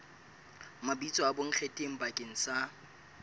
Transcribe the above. mabitso a bonkgetheng bakeng sa